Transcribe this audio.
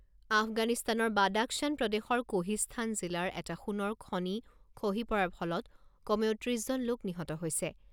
আফগানিস্তানৰ বাদাখশ্বান প্ৰদেশৰ কোহিস্থান জিলাৰ এটা সোণৰ খনি খহি পৰাৰ ফলত কমেও ত্ৰিছ জন লোক নিহত হৈছে।